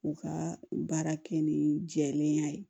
U ka baara kɛ ni jɛlenya ye